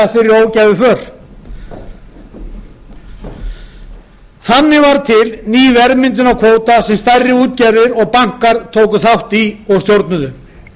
virkilega þeirri ógæfuför þannig varð til ný verðmyndun á kvóta sem stærri útgerðir og bankar tóku þátt í og stjórnuðu